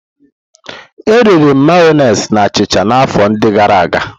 Eriri m Mayonezi na achịcha na afọ ndi gara aga.